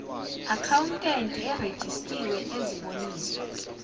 akhawuntenti erejistiwe eziboniso